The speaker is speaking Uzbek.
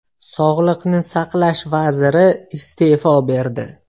Sog‘liqni saqlash vaziri iste’fo berdi.